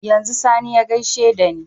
Yanzu sani ya gaishe dani